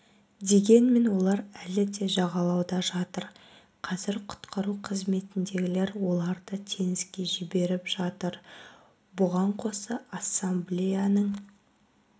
дегенмен олар әлі де жағалауда жатыр қазір құтқару қызметіндегілер оларды теңізге жіберіп жатыр бұған қоса ассамблеяның